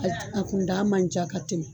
a t a kun da man ca ka tɛmɛ.